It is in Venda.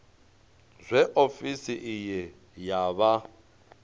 zwe ofisi iyi ya vha